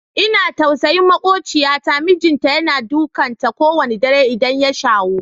Ina jin tausayin maƙociyata, mijinta yana dukan ta ko wanna dare idan ya shawo.